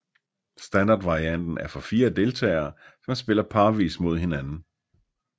Standardvarianten er for fire deltagere som spiller parvis mod hinanden